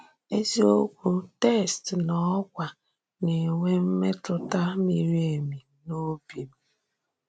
Ezìokwu text nọ̀kwà na-enwe mètùtà miri èmì n’òbì m.